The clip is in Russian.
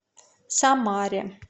самаре